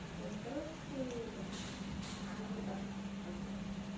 короче вот так вот как-то